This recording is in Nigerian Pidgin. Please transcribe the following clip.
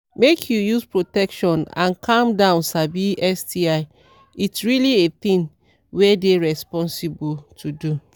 make u use protection and calm down sabi sti it really a thing were dey rensposible to do